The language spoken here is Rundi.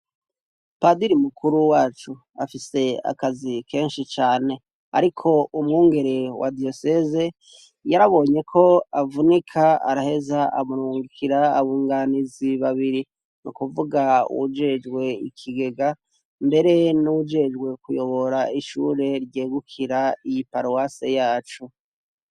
Padiri mukuru wacu afise akazi kenshi cane, ariko umwungere wa diyoseze yarabonye ko avunika araheza amurungikira abunganizi babiri. Ni ukuvuga uwujejwe ikigega, mbere n'uwujejwe kuyobora iri shure ryegukira iyi paruwase yacu.